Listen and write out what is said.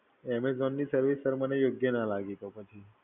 Amazon's service sir મને યોગ્ય ના લાગી તો પછી.